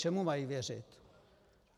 Čemu mají věřit?